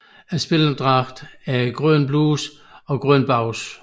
Spillerdragten er grønne bluser og grønne bukser